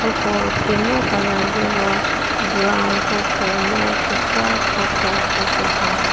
uko temvü color li ro brown kropo mou kekra kropo keze tha.